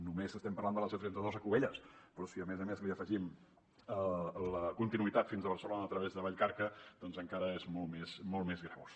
només estem parlant de la c trenta dos a cubelles però si a més a més li afegim la continuïtat fins a barcelona a través de vallcarca doncs encara és molt més greujós